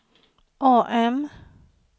AM